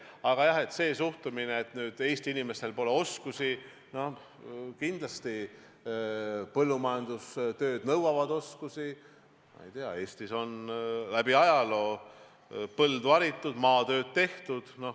Aga jah, see suhtumine, et Eesti inimestel pole oskusi – kindlasti põllumajandustööd nõuavad oskusi, ma ei tea, Eestis on läbi ajaloo põldu haritud, maatööd tehtud.